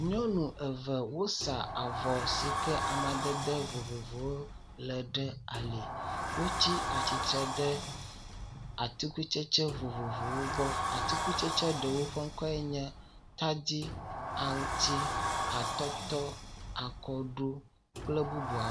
Nyɔnu eve wosa avɔ si ke amadede vovovowo le ɖe ali. Wotsi atsitre ɖe atikutsetse vovovowo gbɔ.. Atikutsetse ɖewo ƒe ŋkɔe nye, tadi, aŋtsi, atɔtɔ, akɔɖu kple bubuawo.